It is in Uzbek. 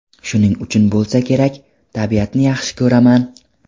Shuning uchun bo‘lsa kerak, tabiatni yaxshi ko‘raman.